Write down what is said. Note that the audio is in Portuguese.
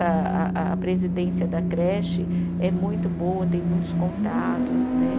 A a a a presidência da creche é muito boa, tem muitos contatos, né?